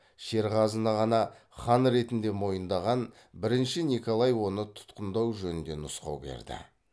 шерғазыны ғана хан ретінде мойындаған бірінші николай оны тұтқындау жөнінде нұсқау берді